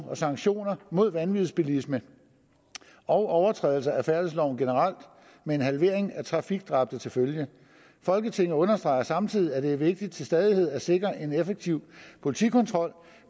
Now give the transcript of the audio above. og sanktioner mod vanvidsbilisme og overtrædelser af færdselsloven generelt med en halvering af trafikdræbte til følge folketinget understreger samtidig at det er vigtigt til stadighed at sikre en effektiv politikontrol